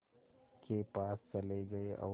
के पास चले गए और